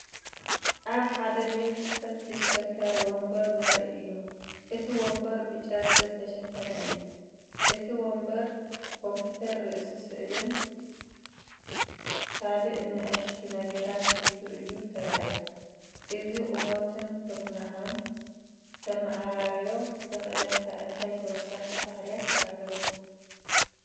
ኣብ ሓደ ቤት ጽሕፈት ዝሽክርከር መንበር ዘርኢ እዩ። እቲ መንበር ብጨርቂ ዝተሸፈነ እዩ። እቲ መንበር ኮምፒተር፡ ርእሲ ስልክን ካልእ ንኣሽቱ ነገራትን ሒዙ እዩ ተራእዩ። እዚ ቁመቱን ኩርናዑን ከተመዓራርዮ ዘኽእለካ እንታይ ተወሳኺ ባህርያት ኣለዎ?